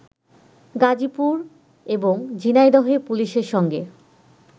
গাজিপুর এবং ঝিনাইদহে পুলিশের সঙ্গে